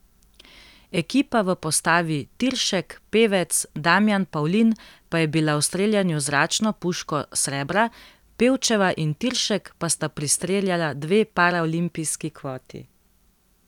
Ekipa v postavi Tiršek, Pevec, Damjan Pavlin pa je bila v streljanju z zračno puško srebra, Pevčeva in Tiršek pa sta pristreljala dve paraolimpijski kvoti.